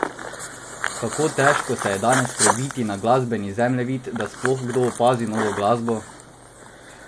Kako težko se je danes prebiti na glasbeni zemljevid, da sploh kdo opazi novo glasbo?